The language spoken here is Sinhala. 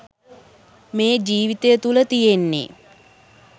මේ ජීවිතය තුළ තියෙන්නෙ